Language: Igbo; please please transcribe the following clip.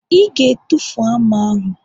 Ị ga-etufu hama ahụ!